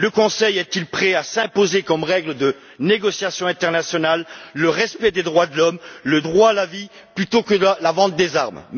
Le Conseil est il prêt à s'imposer comme règle de négociation internationale le respect des droits de l'homme, le droit à la vie plutôt que la vente des armes?